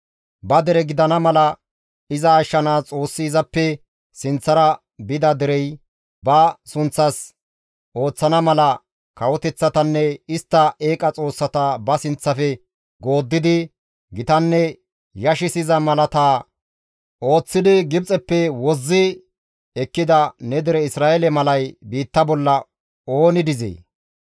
«Ba dere gidana mala iza ashshanaas Xoossi izappe sinththara bida derey, ba sunththas ooththana mala kawoteththatanne istta eeqa xoossata ba sinththafe gooddidi gitanne yashissiza malaata ooththidi Gibxeppe wozzi ekkida ne dere Isra7eele malay biitta bolla ooni dizee?